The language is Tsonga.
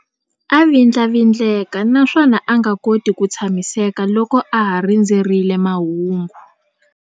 A vindlavindleka naswona a nga koti ku tshamiseka loko a ha rindzerile mahungu.